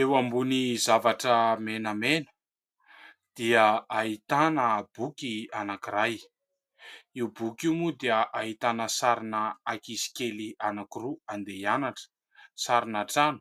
Eo ambony zavatra menamena, dia ahitana boky anankiray. Io boky io moa dia ahitana sarina ankizikely anankiroa andeha ianatra, sarina trano,